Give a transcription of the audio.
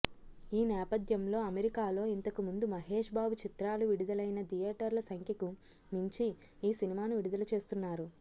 ఈ నేపథ్యంలో అమెరికాలో ఇంతకుముందు మహేష్ బాబు చిత్రాలు విడుదలైన థియేటర్ల సంఖ్యకు మించి ఈ సినిమాను విడుదల చేస్తున్నారు